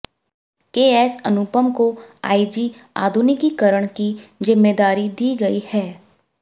KS Anupam को I G आधुनिकीकरण की जिम्मेदारी दी गई है